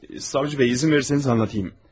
Savcı bəy, izin verirseniz anlatayım.